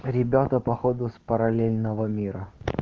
ребята походу с параллельного мира